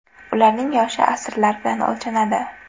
Ularning yoshi asrlar bilan o‘lchanadi.